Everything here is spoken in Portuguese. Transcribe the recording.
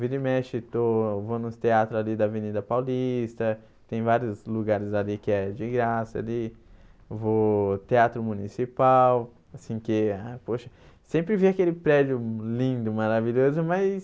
Vira e mexe, eu estou eu vou nos teatros ali da Avenida Paulista, tem vários lugares ali que é de graça ali, vou teatro municipal, assim que, ah poxa, sempre vi aquele prédio lindo, maravilhoso, mas...